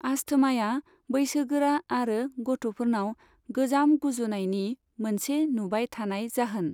आस्थमाया बैसोगोरा आरो गथ'फोरनाव गोजाम गुजुनायनि मोनसे नुबाय थानाय जाहोन।